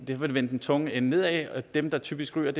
det vil vende den tunge ende nedad dem der typisk ryger er